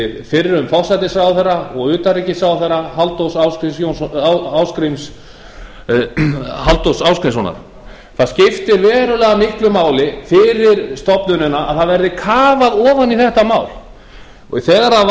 fyrrum forsætisráðherra og utanríkisráðherra halldórs ásgrímssonar það skiptir verulega miklu máli fyrir stofnunina að það verði kafað ofan í þetta mál þegar